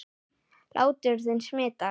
Hlátur þinn smitar.